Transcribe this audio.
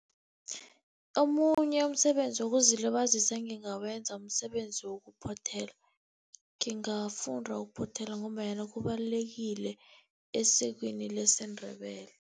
Omunye umsebenzi wokuzilibazisa engingawenza msebenzi wokuphothela. Ngingafunda ukuphothela, ngombanyana kubalulekile esikweni lesiNdebele.